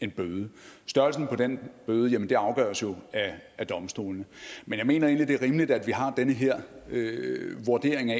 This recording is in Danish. en bøde størrelsen på den bøde afgøres jo af domstolene men jeg mener egentlig at det er rimeligt at vi har den her vurdering af